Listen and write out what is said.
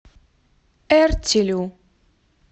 эртилю